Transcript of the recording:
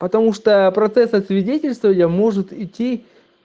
потому что процессы свидетельствовали может идти